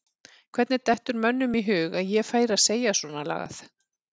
Hvernig dettur mönnum í hug að ég færi að segja svona lagað?